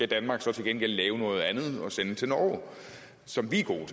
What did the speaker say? danmark til gengæld lave noget andet som vi er gode